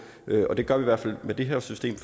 og det gør vi i hvert fald med det her system